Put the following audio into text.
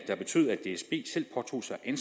en